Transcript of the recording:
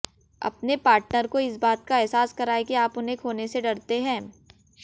अपने पार्टनर को इस बात का एहसास कराएं की आप उन्हें खोने से डरते हैं